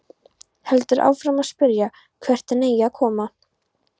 Heldur áfram að spyrja hvert hann eigi að koma.